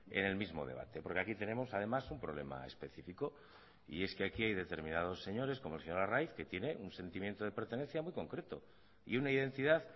en el mismo debate porque aquí tenemos además un problema específico y es que aquí hay determinados señores como el señor arraiz que tiene un sentimiento de pertenencia muy concreto y una identidad